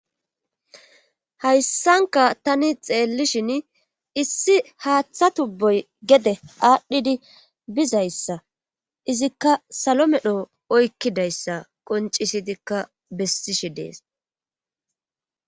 hayssanka tani xeellishin issi haaththa tubboy gede aadhdhidi bizayssa izikka salo medho oykkidayssa qoncisidikka bessishe dees